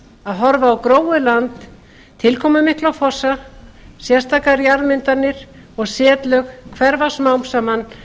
að horfa á gróið land tilkomumikla fossa sérstakar jarðmyndanir og setlög hverfa smám saman